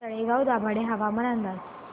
तळेगाव दाभाडे हवामान अंदाज